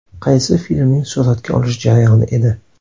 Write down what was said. Qaysi filmning suratga olish jarayoni edi?